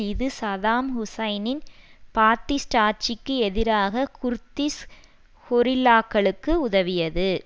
இது சதாம் ஹுசைனின் பாத்திஸ்ட் ஆட்சிக்கு எதிராக குர்திஷ் கொரில்லாக்களுக்கு உதவியது